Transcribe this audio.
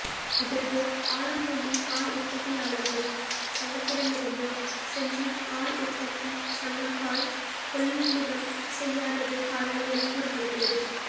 இதற்கு ஆலம்பூண்டி பால் உற்பத்தியாளா்கள் சங்கத்திடமிருந்து செஞ்சி பால் உற்பத்தி சங்கம் பால் கொள்முதல் செய்யாததே காரணம் எனக் கூறப்படுகிறது